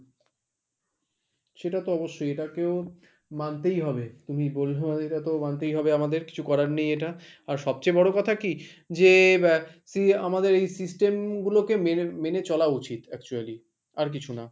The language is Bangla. সেটা তো অবশ্যই এটাকেও মানতেই হবে তুমি বললে তো মানতেই হবে আমাদের কিছু করার নেই এটা আর সবচেয়ে বড় কথা কি? যে আ see আমাদের এই system গুলোকে মেনে মেনে চলা উচিত actually আর কিছু না।